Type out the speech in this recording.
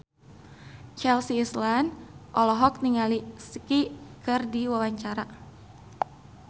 Chelsea Islan olohok ningali Psy keur diwawancara